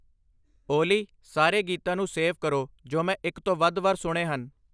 ਓਲੀ ਸਾਰੇ ਗੀਤਾਂ ਨੂੰ ਸੇਵ ਕਰੋ ਜੋ ਮੈਂ ਇੱਕ ਤੋਂ ਵੱਧ ਵਾਰ ਸੁਣੇ ਹਨ